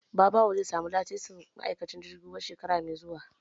Babawo zai samu lasisin ma'aikancin jirgin ruwa shekara mai zuwa